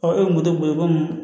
e ye moto boli komi